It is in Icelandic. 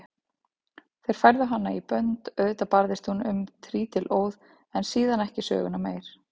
Þeir færðu hana í bönd, auðvitað barðist hún um trítilóð en síðan ekki söguna meir.